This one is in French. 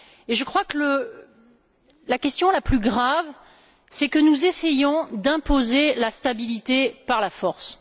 Je crois que la question la plus grave, c'est que nous essayons d'imposer la stabilité par la force.